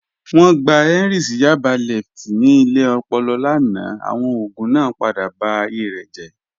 Wọn gbà Henry sí Yaba lẹftí ní ilẹ̀ òpòlò lánà, awọn ogun naa padà bá ayé rẹ jẹ́.